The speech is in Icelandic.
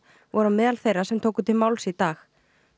voru á meðal þeirra sem tóku til máls í dag